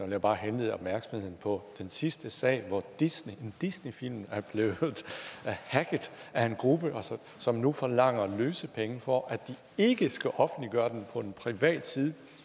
jeg bare henlede opmærksomheden på den sidste sag hvor en disneyfilm disneyfilm er blevet hacket af en gruppe som nu forlanger løsepenge for at de ikke skal offentliggøre den på en privat side